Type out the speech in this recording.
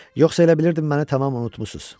Yoxsa elə bilirdim məni tamam unutmusuz.